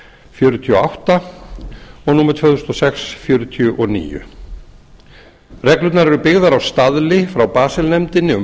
fjörutíu og átta og númer tvö þúsund og sex fjörutíu og níu reglurnar eru byggðar á staðli frá basel nefndinni um